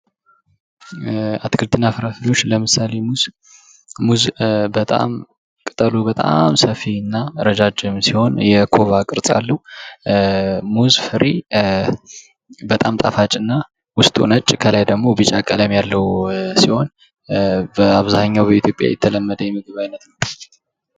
አትክልትና ፍራፍሬዎች ለምሳሌ ሙዝ ፦ ሙዝ በጣም ቅጠሉ በጣም ሰፊ እና እረጃጅም ሲሆን የኮባ ቅርጽ አለው። ሙዝ ፍሬ በጣም ጣፋጭና ውስጡ ነጭ ከላይ ደግሞ ቢጫ ቀለም ያለው ሲሆን በአብዛኛው በኢትዮጵያ የተለመደ የምግብ አይነት ነው ።